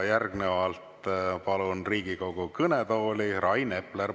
Järgnevalt palun Riigikogu kõnetooli Rain Epleri.